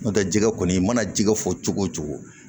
N'o tɛ jɛgɛ kɔni mana ji fɔ cogo o cogo